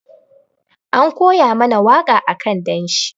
An koya mana waka akan danshi.